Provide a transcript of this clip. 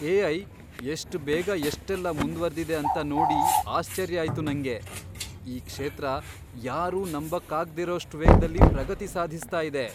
AI. ಎಷ್ಟ್ ಬೇಗ ಎಷ್ಟೆಲ್ಲ ಮುಂದ್ವರ್ದಿದೆ ಅಂತ ನೋಡಿ ಆಶ್ಚರ್ಯ ಆಯ್ತು ನಂಗೆ! ಈ ಕ್ಷೇತ್ರ ಯಾರೂ ನಂಬಕ್ಕಾಗ್ದೇರೋಷ್ಟ್ ವೇಗ್ದಲ್ಲಿ ಪ್ರಗತಿ ಸಾಧಿಸ್ತಾ ಇದೆ.